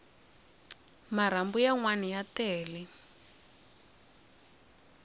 marhambu ya nwana ya tele